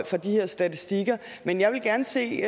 de her statistikker men jeg vil gerne se